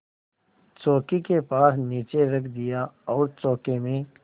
चौकी के पास नीचे रख दिया और चौके में